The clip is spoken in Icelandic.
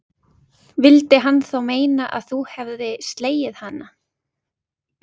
Vildi hann þá meina að hún hefði slegið hana?